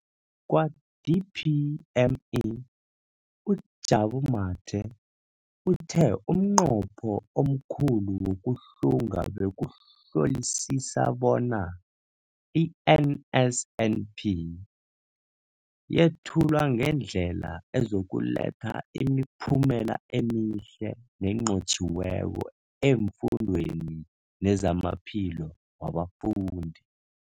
Kwa-DPME, uJabu Mathe, uthe umnqopho omkhulu wokuhlunga bekukuhlolisisa bona i-NSNP yethulwa ngendlela ezokuletha imiphumela emihle nenqotjhiweko efundweni nezamaphilo wabafundi.